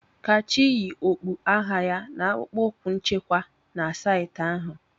Kachi yi okpu agha ya na akpụkpọ ụkwụ nchekwa na saịtị ahụ.